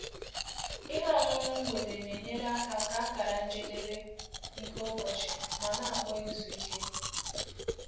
Ihe ọṅụṅụ mgbede na-enyere aka kaa akara njedebe nke ụbọchị ma na-akpọ izu ike.